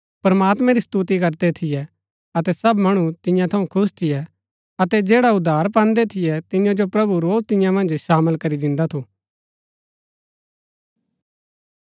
प्रमात्मैं री स्तुति करदै थियै अतै सब मणु तियां थऊँ खुश थियै अतै जैडा उद्धार पान्दै थियै तियां जो प्रभु रोज तियां मन्ज शामळ करी दिन्दा थू